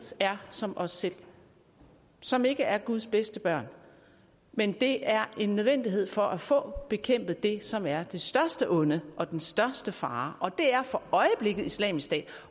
er som os selv som ikke er guds bedste børn men det er en nødvendighed for at få bekæmpet det som er det største onde og den største fare og det er for øjeblikket islamisk stat